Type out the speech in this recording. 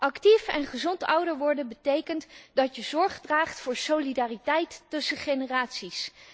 Actief en gezond ouder worden betekent dat je zorg draagt voor solidariteit tussen generaties.